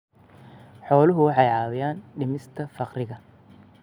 Xooluhu waxay caawiyaan dhimista faqriga.